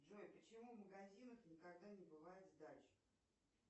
джой почему в магазинах никогда не бывает сдачи